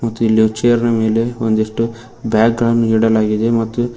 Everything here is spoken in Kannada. ಮತ್ತೆ ಇಲ್ಲಿ ಚೇರ್ನ ಮೇಲೆ ಒಂದಿಷ್ಟು ಬ್ಯಾಗ್ಗಳನ್ನು ಇಡಲಾಗಿದೆ ಮತ್ತು--